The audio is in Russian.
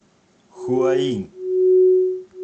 хуаинь